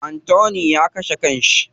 Anthony ya kashe kan shi.